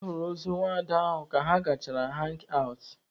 A hụrụ ozu nwaada ahụ ka ha gachara hangi awụt.